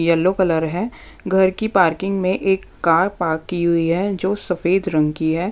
Yellow colour हैं घर की पार्किंग में एक कार पार्क की हुई हैं जो सफेद रंग की हैं।